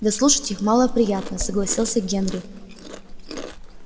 да слушать их малоприятно согласился генри